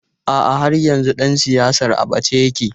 A'a, har yanzu ɗan siyasar a ɓace yake.